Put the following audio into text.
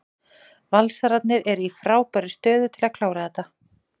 Valsararnir eru í frábærri stöðu til að klára þetta.